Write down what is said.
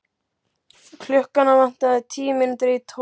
Klukkuna vantaði tíu mínútur í tólf.